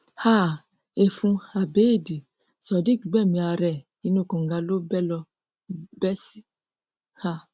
um ẹfun abéèdì sodiq gbẹmí ara ẹ inú kànga ló bẹ ló bẹ sí um